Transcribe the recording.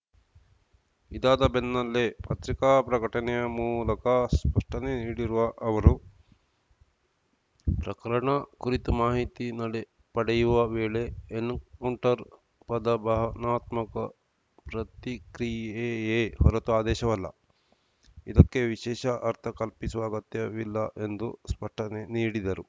ಇದಾದ ಬೆನ್ನಲ್ಲೇ ಪತ್ರಿಕಾ ಪ್ರಕಟಣೆ ಮೂಲಕ ಸ್ಪಷ್ಟನೆ ನೀಡಿರುವ ಅವರು ಪ್ರಕರಣ ಕುರಿತು ಮಾಹಿತಿ ನಡೆ ಪಡೆಯುವ ವೇಳೆ ಎನ್‌ಕೌಂಟರ್‌ ಪದ ಭಾವನಾತ್ಮಕ ಪ್ರತಿಕ್ರಿಯೆಯೇ ಹೊರತು ಆದೇಶವಲ್ಲ ಇದಕ್ಕೆ ವಿಶೇಷ ಅರ್ಥ ಕಲ್ಪಿಸುವ ಅಗತ್ಯವಿಲ್ಲ ಎಂದು ಸ್ಪಷ್ಟನೆ ನೀಡಿದರು